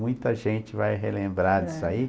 Muita gente vai relembrar disso aí.